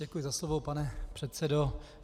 Děkuji za slovo, pane předsedo.